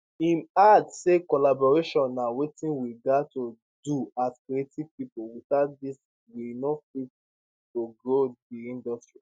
im add say collaboration na wetin we gat to do as creative pipo without dis we no fit to grow di industry